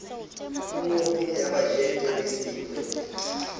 puo ya bajete le setatemente